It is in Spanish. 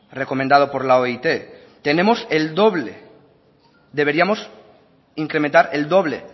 recomendado por la oit tenemos el doble deberíamos incrementar el doble